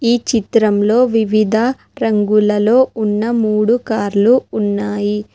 ఈ చిత్రంలో వివిధ రంగులలో ఉన్న మూడు కార్లు ఉన్నాయి.